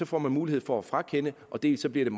får man mulighed for at frakende dels bliver